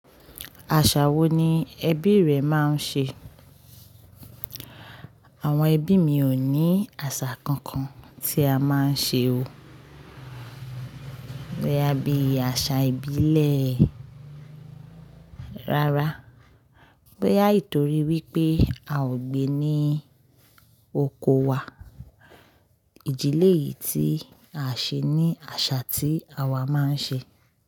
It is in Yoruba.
Àṣà wo ni ẹbí rẹ máa ń ṣe? Àwọn ẹbí mi ò ní àṣà kankan tí a máa ń ṣe o. Boyá bí i àṣà ìbílẹ̀. Rárá, bóyá nítorí wípé a ò gbé ní oko wa, ìdílé yìí tí a ṣe ní àṣà tí àwa máa ń ṣe.